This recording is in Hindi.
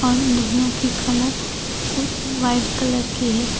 उन दोनों की कलर वाइट कलर की है।